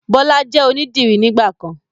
Bọlá jẹ́ onidiri nígbàkan